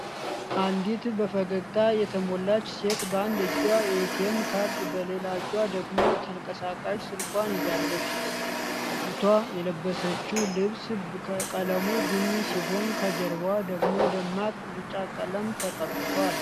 አንዲት በፈገግታ የተሞላች ሴት በአንድ እጇ የኤቲኤም ካርድ በሌላ እጇ ደግሞ ተንቀሳቃሽ ስልኳን ይዛለች። ልጅቷ የለበሰችው ልብስ ቀለም ቡኒ ሲሆን ከጀርባዋ ደሞ ደማቅ ቢጫ ቀለም ተቀብቷል።